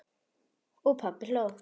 Og pabbi hló.